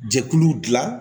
Jɛkulu dilan